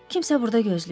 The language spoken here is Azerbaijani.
Kimsə burda gözləyib.